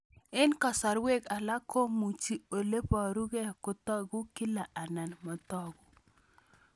Eng' kasarwek alak komuchi ole parukei kotag'u kila anan matag'u